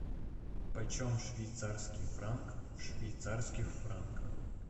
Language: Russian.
почем швейцарский франк в швейцарских франках